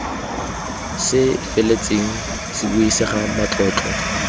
se feletseng se buisega matlotlo